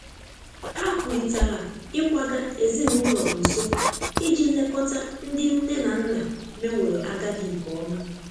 Ha kwurịtara ịkwaga ezinụlọ nso iji lekọta ndị nne na nna meworo agadi nke ọma.